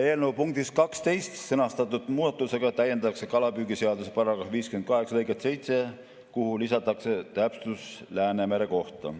Eelnõu punktis 12 sõnastatud muudatusega täiendatakse kalapüügiseaduse § 58 lõiget 7, kuhu lisatakse täpsustus Läänemere kohta.